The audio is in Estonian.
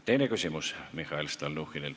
Teine küsimus Mihhail Stalnuhhinilt.